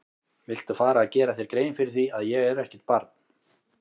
Viltu fara að gera þér grein fyrir því að ég er ekkert barn!